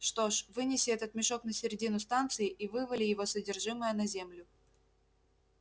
что ж вынеси этот мешок на середину станции и вывали его содержимое на землю